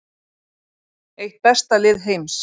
Eitt besta lið heims